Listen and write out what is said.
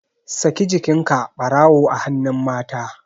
Saki jikinka barawu a hannun mata